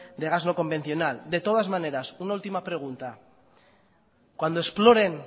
de gas no convencional de todas maneras una última pregunta cuando exploren